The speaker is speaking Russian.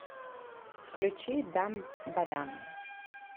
включи дам ба дам